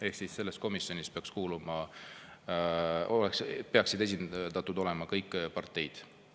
Ehk siis selles komisjonis peaks esindatud olema kõik parteid.